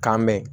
K'an mɛn